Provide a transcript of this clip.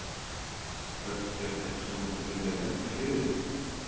Hödd: Er þetta eitthvað sem þú myndir vilja leggja fyrir þig?